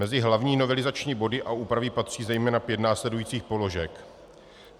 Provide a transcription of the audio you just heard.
Mezi hlavní novelizační body a úpravy patří zejména pět následujících položek.